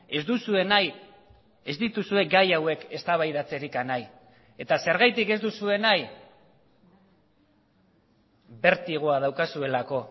ez duzue nahi ez dituzue gai hauek eztabaidatzerik nahi eta zergatik ez duzue nahi bertigoa daukazuelako